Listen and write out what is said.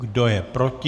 Kdo je proti?